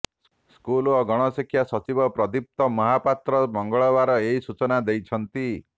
school ଓ ଗଣଶିକ୍ଷା ସଚିବ ପ୍ରଦୀପ୍ତ ମହାପାତ୍ର ମଙ୍ଗଳବାର ଏହି ସୂଚନା ଦେଇଛନ୍ତି